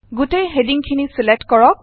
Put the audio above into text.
গোটেই হেডিং খিনি ছিলেক্ট কৰক